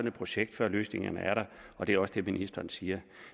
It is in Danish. et projekt før løsningerne er der og det er også det ministeren siger